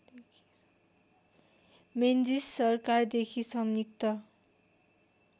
Menzies सरकारदेखि संयुक्त